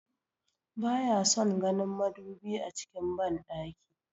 Ba ya son ganin madubi a cikin banɗaki